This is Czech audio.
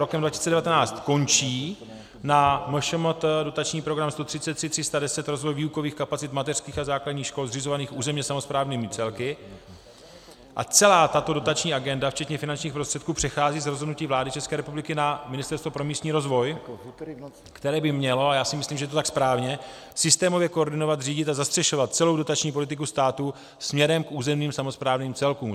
Rokem 2019 končí na MŠMT dotační program 133310 Rozvoj výukových kapacit mateřských a základních škol zřizovaných územně samosprávnými celky a celá tato dotační agenda včetně finančních prostředků přechází z rozhodnutí vlády České republiky na Ministerstvo pro místní rozvoj, které by mělo, a já si myslím, že je to tak správně, systémově koordinovat, řídit a zastřešovat celou dotační politiku státu směrem k územním samosprávným celkům.